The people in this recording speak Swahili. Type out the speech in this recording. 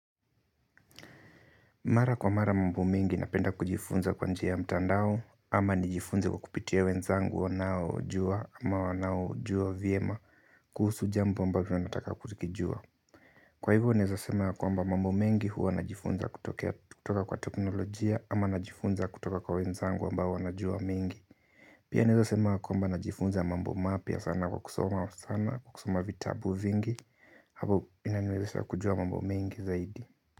Mara kwa mara mambo mingi napenda kujifunza kwa njia ya mtandao ama nijifunze kwa kupitia wenzangu wanaojua ama wanaojua vyema kuhusu jambo ambavyo nataka kukijua. Kwa hivyo naeza sema ya kwamba mambo mengi huwa najifunza kutoka kwa teknolojia ama najifunza kutoka kwa wenzangu ambao wanajua mingi. Pia naeza sema kwamba najifunza mambo mapya sana kwa kusoma sana kwa kusoma vitabu vingi hapo inaniwezesha kujua mambo mingi zaidi.